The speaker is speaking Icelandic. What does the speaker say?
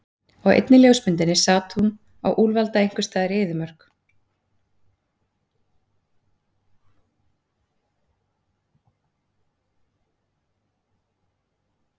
Á einni ljósmyndinni sat hún á úlfalda einhvers staðar í eyðimörk.